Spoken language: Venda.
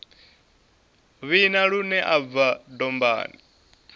vhina lune u bva dombani